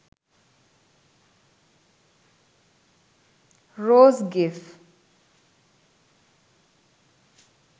rose gif